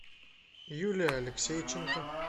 юлия алексейченко